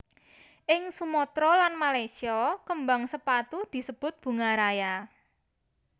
Ing Sumatra lan Malaysia kembang sepatu disebut bunga raya